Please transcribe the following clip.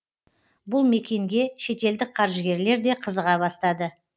бұл мекенге шетелдік қаржыгерлер де қызыға бастады